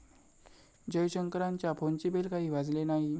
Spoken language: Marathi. जयशंकरांच्या फोनची बेल काही वाजली नाही.